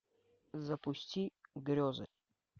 запусти грезы